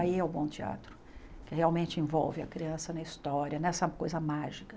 Aí é o bom teatro, que realmente envolve a criança na história, nessa coisa mágica.